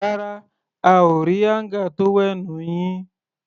Rárá, a ò rí áńgà tówẹ́ẹ̀nù yín.